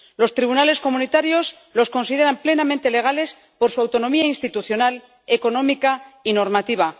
Los tribunales de la Unión los consideran plenamente legales por su autonomía institucional, económica y normativa.